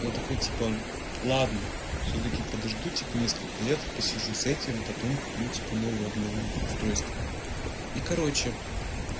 я такой типа ладно всё-таки подожду типа несколько лет посижу с этим потом куплю типа новое обновлю устройство и короче